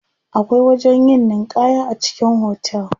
Akwai wajen yin ninƙaya a cikin hotel.